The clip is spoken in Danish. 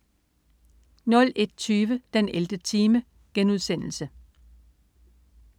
01.20 den 11. time*